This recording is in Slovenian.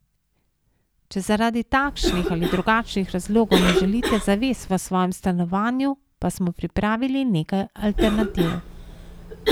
Če zaradi takšnih ali drugačnih razlogov ne želite zaves v svojem stanovanju, pa smo pripravili nekaj alternativ.